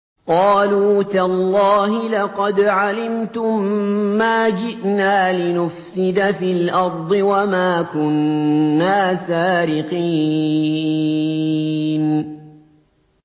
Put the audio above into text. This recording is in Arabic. قَالُوا تَاللَّهِ لَقَدْ عَلِمْتُم مَّا جِئْنَا لِنُفْسِدَ فِي الْأَرْضِ وَمَا كُنَّا سَارِقِينَ